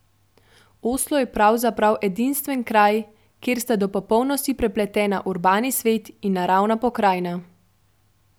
Oslo je pravzaprav edinstven kraj, kjer sta do popolnosti prepletena urbani svet in naravna pokrajina.